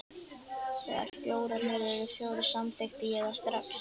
Þegar bjórarnir urðu fjórir, samþykkti ég það strax.